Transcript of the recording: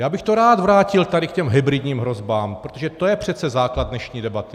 Já bych to rád vrátil tady k těm hybridním hrozbám, protože to je přece základ dnešní debaty.